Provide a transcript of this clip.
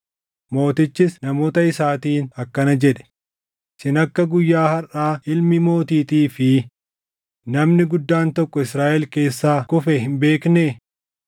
Mootichis namoota isaatiin akkana jedhe; “Isin akka guyyaa harʼaa ilmi mootiitii fi namni guddaan tokko Israaʼel keessaa kufe hin beeknee?